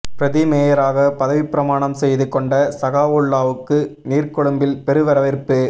பிரதி மேயராக பதவிப்பிரமாணம் செய்து கொண்ட சகாவுல்லாஹ்வுக்கு நீர்கொழும்பில் பெரு வரவேற்பு